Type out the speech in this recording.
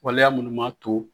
Waleya minnu b'a to